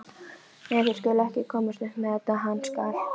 Nei, þeir skulu ekki komast upp með þetta, hann skal.